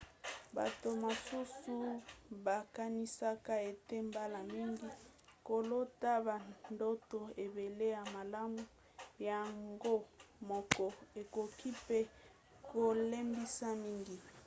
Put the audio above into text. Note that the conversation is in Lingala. bato mosusu bakanisaka ete mbala mingi kolota bandoto ebele ya malamu yango moko ekoki mpe kolembisa mingi